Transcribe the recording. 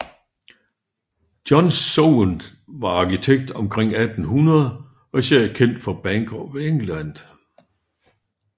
John Soane var arkitekt omkring 1800 og især kendt for Bank of England